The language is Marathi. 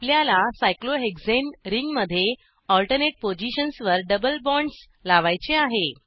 आपल्याला सायक्लोहेक्साने रींगमध्ये ऑल्टर्नेट पोझिशन्स वर डबल बॉन्ड्स लावायचे आहे